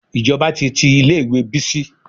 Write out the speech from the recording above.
Ìjọba ti tí ilé ìwé Bísí.